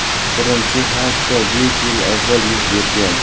Birinchi hodisa besh yil avval yuz bergan.